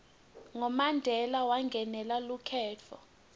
ngo mandela wangenela lukhetfo